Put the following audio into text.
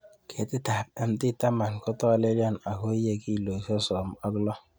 Ketitab MT10 kotolelion ago iye kilosiek sosom ok loo